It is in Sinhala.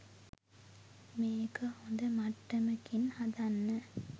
මේක හොඳ මට්ටමකින් හදන්න